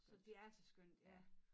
Så det er altså skønt ja